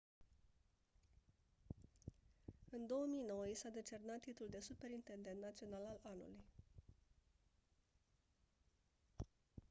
în 2009 i s-a decernat titlul de superintendent național al anului